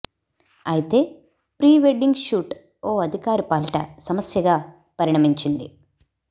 అయితే pre wedding shoot ఓ అధికారి పాలిట సమస్యగా పరిణమించింది